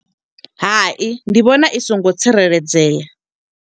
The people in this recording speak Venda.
Hai, ndi vhona i songo tsireledzea.